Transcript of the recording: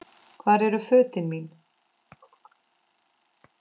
Hvar eru fötin mín.?